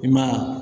I ma ye